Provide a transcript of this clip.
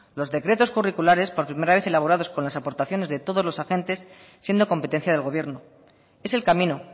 los decretos curriculares por primera vez elaborados con las aportaciones de todos los agentes siendo competencia del gobierno es el camino